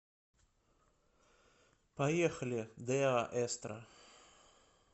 поехали деа эстро